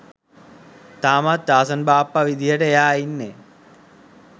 තාමත් ටාසන් බාප්ප විදිහට එයා ඉන්නෙ